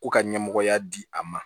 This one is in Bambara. Ko ka ɲɛmɔgɔya di a ma